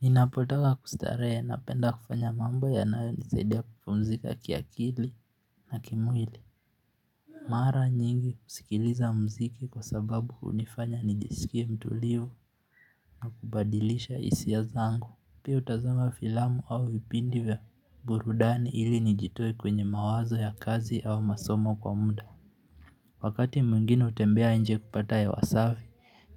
Ninapotaka kustarehe napenda kufanya mambo yanayo nisaidia kupumzika kiakili na kimwili Mara nyingi kusikiliza mziki kwa sababu hunifanya nijisikie mtulivu na kubadilisha hisia zangu. Pia hutazama filamu au vipindi vya burudani ili nijitoe kwenye mawazo ya kazi au masomo kwa muda Wakati mwingine hutembea nje kupata hewa safi